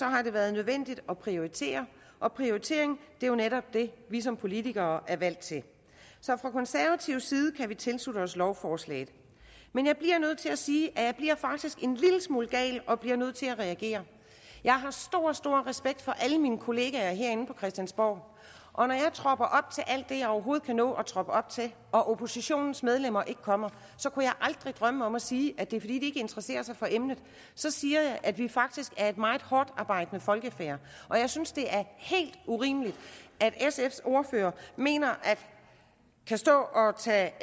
har det været nødvendigt at prioritere og prioritering er jo netop det vi som politikere er valgt til fra konservativ side kan vi derfor tilslutte os lovforslaget men jeg bliver nødt til at sige at jeg faktisk bliver en lille smule gal og bliver nødt til at reagere jeg har stor stor respekt for alle mine kolleger herinde på christiansborg og når jeg tropper op til alt det jeg overhovedet kan nå at troppe op til og oppositionens medlemmer ikke kommer kunne jeg aldrig drømme om at sige at det er fordi de ikke interesserer sig for emnet så siger jeg at vi faktisk er et meget hårdtarbejdende folkefærd jeg synes det er helt urimeligt at sfs ordfører kan stå og tage